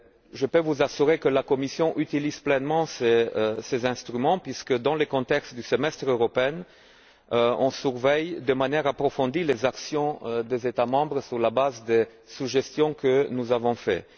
Je peux vous assurer que la Commission utilise pleinement ces instruments puisque dans le contexte du semestre européen, elle surveille de manière approfondie les actions des États membres sur la base des suggestions que nous avons faites.